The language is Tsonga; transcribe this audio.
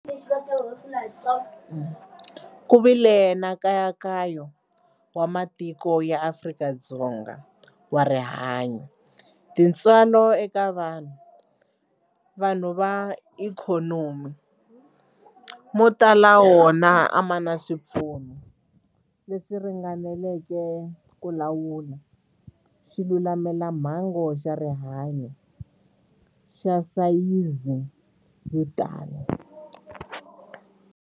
Ku vile na nkayakayo wa matiko ya Afrika-Dzpnga wa rihanyu, tintswalo eka vanhu, vanhu na ikhonomi, mo tala ma wona a ma na swipfuno leswi ringaneleke ku lawula xilamulelamhangu xa rihanyu xa sayizi yo tani.